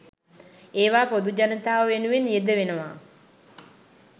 ඒවා පොදු ජනතාව වෙනුවෙන් යෙදවෙනවා.